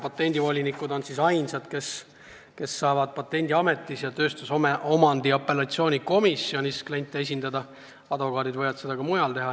Patendivolinikud on ainsad, kes saavad Patendiametis ja tööstusomandi apellatsioonikomisjonis kliente esindada, advokaadid võivad seda ka mujal teha.